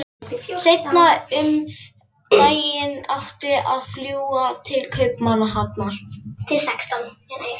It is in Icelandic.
Seinna um daginn átti að fljúga til Kaupmannahafnar.